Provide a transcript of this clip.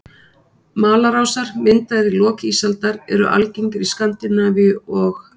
Malarásar, myndaðir í lok ísaldar, eru algengir í Skandinavíu og